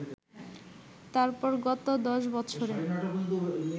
তারপর গত দশ বছরে